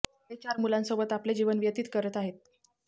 ते चार मुलांसोबत आपले जीवन व्यतित करत आहेत